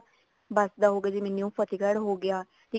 ਬੱਸ ਦਾ ਹੋਗਿਆ ਜਿਵੇਂ new ਫਤਿਹਗੜ ਹੋਗਿਆ ਜਿਵੇਂ